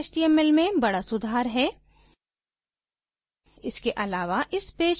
यह वास्तव में static html में बडा सुधार है